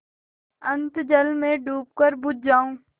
अनंत जल में डूबकर बुझ जाऊँ